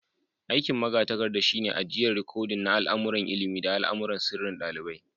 Aiki'n magatarkada shine ajian rikodin na al'amuran ilimi da al'amuran sirrin dalibai.